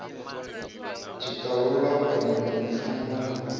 tshiṱalula u pandelwa mushumoni hu